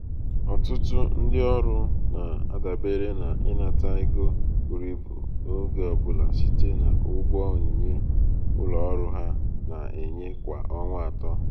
ọtụtụ ndị ọrụ na-adabere n’ịnata ego buru ibu oge ọ bụla site n’ụgwọ onyinye onyinye ụlọ ọrụ ha na-enye kwa ọnwa atọ.